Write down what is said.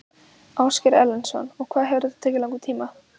Ásgeir Erlendsson: Hvað hefur þetta tekið langan tíma?